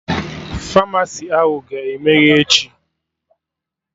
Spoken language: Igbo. Famasi ahụ ga-emeghe echi?